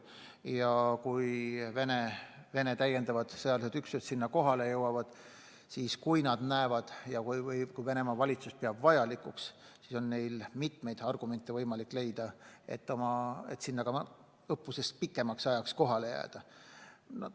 Ja kui Venemaa täiendavad sõjalised üksused sinna kohale jõuavad ja kui Venemaa valitsus peab seda vajalikuks, siis on neil võimalik leida mitmeid argumente, et sinna ka pärast õppust pikemaks ajaks kohale jääda.